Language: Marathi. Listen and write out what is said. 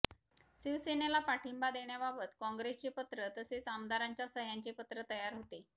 शिवसेनेला पाठिंबा देण्याबाबत काँग्रेसचे पत्र तसेच आमदारांच्या सहय़ांचे पत्र तयार होते